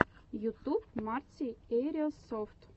ютуб марти эирсофт